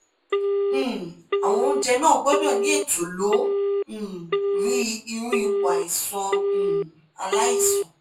um awọn ounjẹ na gbudo ni eto lo um ri iru ipo aisan um alaisan